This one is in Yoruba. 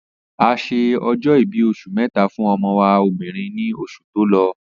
Ase ọjọ́-ìbí oṣù méta fún ọmọ wa obìrin ní oṣù to lọ